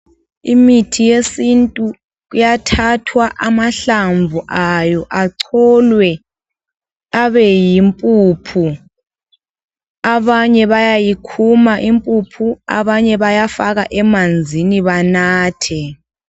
Imithi yesintu, iyathathwa amahlamvu ayo, acholwe abeyimpuphu. Abanye bayayikhuma impuphu, abanye bayafaka emanzini banathe.